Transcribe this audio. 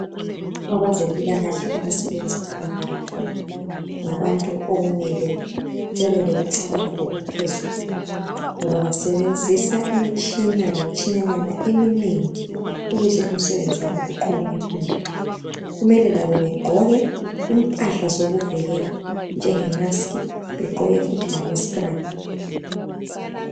Abezempilakahle abasebenza elabhorithori ngabantu okumele bebe lokucabanga okuphezulu ngoba basebenzisa imtshina lemtshinanyana eminengi ukuze umsebenzi wabo uqhubeke phambili. Kumele labo begqoke impahla zokuvikela njenge maskhi begqoke futhi lama scrub.